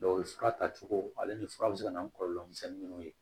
fura tacogo ale ni fura bɛ se ka na ni kɔlɔlɔ misɛnninw ye